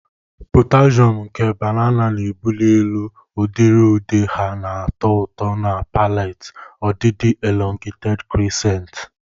Potassium nke banana na-ebuli elu, udiri ude ha na-atọ ụtọ na palate, ọdịdị elongated crescents.